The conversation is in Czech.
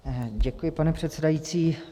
Děkuji, pane předsedající.